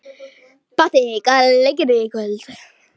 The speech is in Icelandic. Patti, hvaða leikir eru í kvöld?